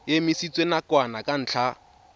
e emisitswe nakwana ka ntlha